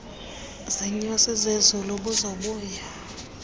ziinyosi zezulu buzobuya